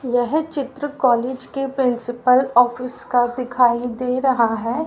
यह चित्र कॉलेज की प्रिंसिपल ऑफिस का दिखाई दे रहा है।